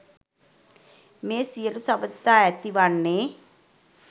මේ සියලු සබඳතා ඇති වන්නේ